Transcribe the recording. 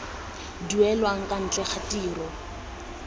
duelang kwa ntle ga tiro